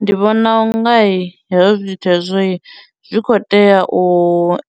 Ndi vhona unga hezwo zwithu hezwo zwi khou tea u